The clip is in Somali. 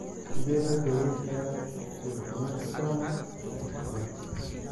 Sidee loo daweyn karaa steatocystoma multiplex?